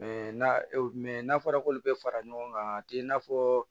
n'a fɔra k'olu bɛ fara ɲɔgɔn kan a t'i n'a fɔ